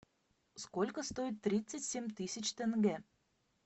сколько стоит тридцать семь тысяч тенге